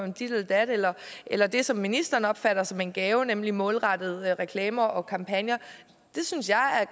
om dit eller dat eller eller det som ministeren opfatter som en gave nemlig målrettede reklamer og kampagner det synes jeg